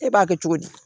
E b'a kɛ cogo di